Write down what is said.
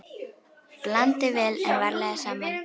Blandið vel en varlega saman.